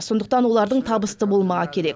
сондықтан олардың табысты болмағы керек